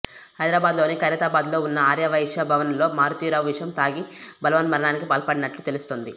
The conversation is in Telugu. హైదరాబాద్లోని ఖైరతాబాద్లో ఉన్న ఆర్య వైశ్య భవన్లో మారుతీ రావు విషం తాగి బలవన్మరణానికి పాల్పడ్డట్లు తెలుస్తోంది